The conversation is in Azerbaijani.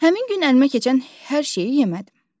Həmin gün əlimə keçən hər şeyi yemədim.